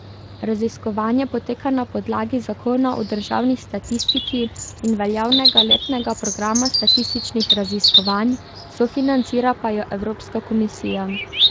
Raziskovanje poteka na podlagi zakona o državni statistiki in veljavnega letnega programa statističnih raziskovanj, sofinancira pa jo Evropska komisija.